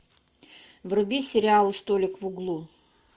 вруби сериал столик в углу